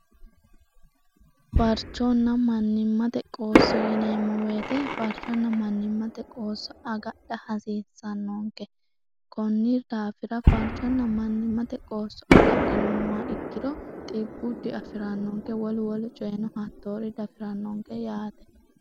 farchoonna mannimmate qoosso yineemmo weete farchoonna mannimmate qoosso agadha hasiissannoonke konnir daafira farchoonna mannimmate qoosso agadhinummoa ikkiro xibbuddi afi'rannoonke wol wol coyenohattoori dafi'rannoonke yaate